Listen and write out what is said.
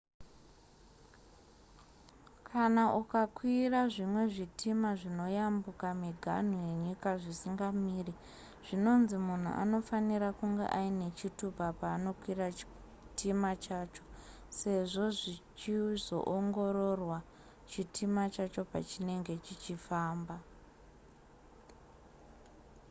kana ukakwira zvimwe zvitima zvinoyambuka miganhu yenyika zvisingamiri zvinonzi munhu anofanira kunge aine chitupa paanokwira chitima chacho sezvo zvichizoongororwa chitima chacho pachinenge chichifamba